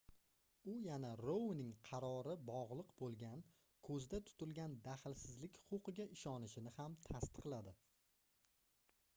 u yana rouning qarori bogʻliq boʻlgan koʻzda tutilgan dahlsizlik huquqiga ishonishini ham tasdiqladi